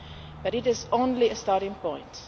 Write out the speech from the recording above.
it. But this is only a starting